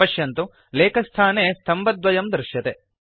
पश्यन्तु लेखस्थाने स्तम्भद्वयं दृश्यते